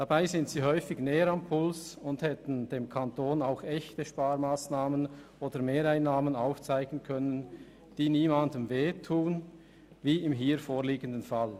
Doch sie sind häufig näher am Puls und hätten dem Kanton auch echte Sparmassnahmen oder Mehreinnahmen aufzeigen können, die niemandem wehtun wie im vorliegenden Fall.